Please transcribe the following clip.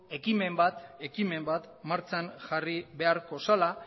ekimen bat martxan jarri beharko zela